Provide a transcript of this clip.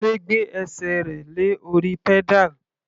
Kunle gbé ẹsẹ̀ rẹ̀ lé orí pedal.